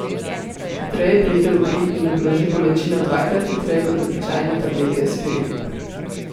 Hitreje preide v kri in ublaži bolečino dvakrat hitreje kot običajne tablete Aspirin.